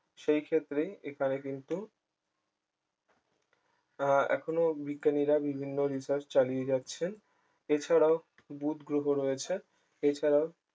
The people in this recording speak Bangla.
সেইক্ষেত্রে এখানে কিন্তু আহ এখনো বিজ্ঞানীরা বিভিন্ন research চালিয়ে যাচ্ছেন এছাড়াও বুধ গ্রহ রয়েছে এছাড়াও